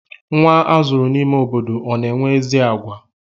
Nwa azụrụ n'ime obodo ọ na-enwe ezi àgwà?